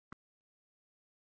Elsku Imba amma.